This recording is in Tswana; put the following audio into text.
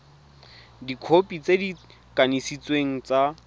dikhopi tse di kanisitsweng tsa